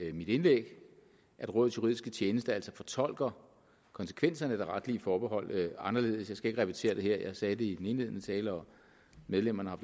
i mit indlæg at rådets juridiske tjeneste altså fortolker konsekvenserne af det retlige forbehold anderledes jeg skal ikke repetere det her jeg sagde det i den indledende tale og medlemmerne har